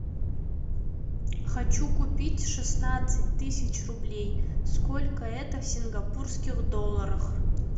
хочу купить шестнадцать тысяч рублей сколько это в сингапурских долларах